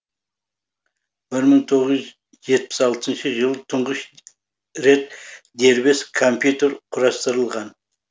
бір мың тоғыз жүз жетпіс алтыншы жылы тұңғыш рет дербес компьютер құрастырылған